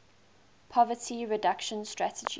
poverty reduction strategy